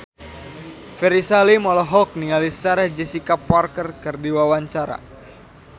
Ferry Salim olohok ningali Sarah Jessica Parker keur diwawancara